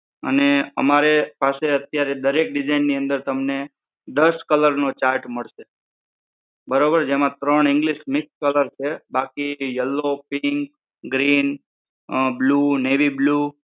અને અમારી પાસે અત્યારે દરેક design ની અંદર તમને દસ colour નો chart મળશે. બરોબર જેમાં ત્રણ english mix colour છે. બાકી yellow, pink, Green, blue, Navy blue